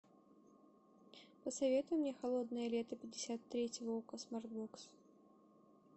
посоветуй мне холодное лето пятьдесят третьего окко смарт бокс